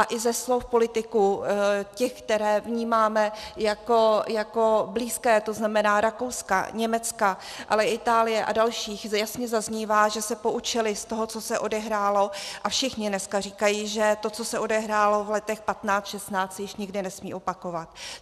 A i ze slov politiků, těch, které vnímáme jako blízké, to znamená Rakouska, Německa, ale i Itálie a dalších, jasně zaznívá, že se poučili z toho, co se odehrálo, a všichni dneska říkají, že to, co se odehrálo v letech 2015, 2016, se již nikdy nesmí opakovat.